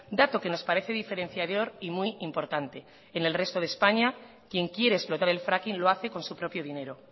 dato que nos parece diferenciador y muy importante en el resto de españa quien quiere explotar el fracking lo hace con su propio dinero